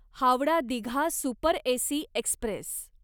Howrah Digha super AC Express